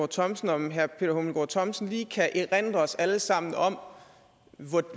thomsen om herre peter hummelgaard thomsen lige kan erindre os alle sammen om